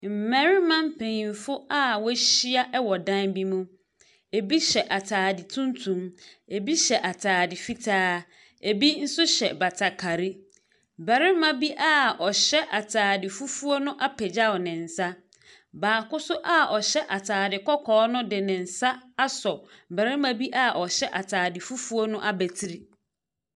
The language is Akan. Mmarima mpanimfo a wɔahyia mu wɔ dan bi mu, bi hyɛ ataade tuntum, bi hyɛ ataade fitaa, bi nso hyɛ batakari. Barima bi a ɔhyɛ ataade fufuo no apagyaw ne nsa, baako nso a ɔhyɛ ataade kɔkɔɔ asɔre de ne nsa asɔ barima bi a ɔhyɛ ataade fufuo no abatiri.